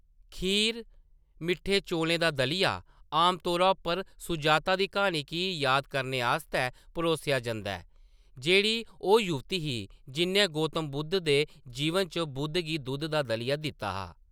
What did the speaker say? खीर, मिट्ठे चौलें दा दलिया आमतौर उप्पर सुजाता दी कहानी गी याद करने आस्तै परोसेआ जंदा ऐ। जेह्ड़ी ओह् युवती ही, जि'न्नै गौतम बुद्ध दे जीवन च बुद्ध गी दूध दा दलिया दित्ता हा।